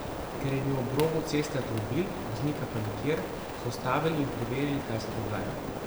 Ker je bil ob robu ceste avtomobil, voznika pa nikjer, so ustavili in preverili, kaj se dogaja.